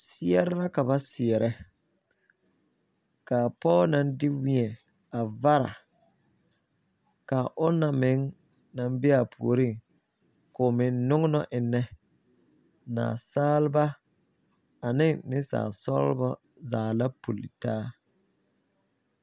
sɛɛre la ka ba sɛɛrɛ ka pɔge naŋ de weɛ a vara kyɛ ka a onaŋ naŋ be a puoreŋ meŋ noŋnɔ eŋnɛ. Naasalba ane niŋsaalsɔglɔ zaa la pullitaa.